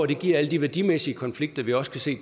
det giver alle de værdimæssige konflikter vi også kan se